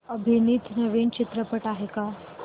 अभिनीत नवीन चित्रपट आहे का